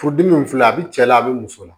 Furudimi filɛ a bɛ cɛ la a bɛ muso la